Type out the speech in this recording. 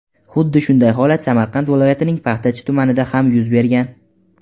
Xuddi shunday holat Samarqand viloyatining Paxtachi tumanida ham yuz bergan.